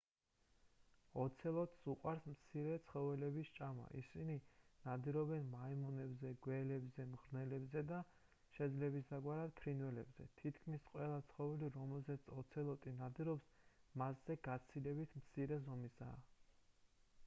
ოცელოტს უყვარს მცირე ცხოველების ჭამა ისინი ნადირობენ მაიმუნებზე გველებზე მღრღნელებზე და შეძლებისდაგვარად ფრინველებზე თითქმის ყველა ცხოველი რომელზეც ოცელოტი ნადირობს მასზე გაცილებით მცირე ზომისაა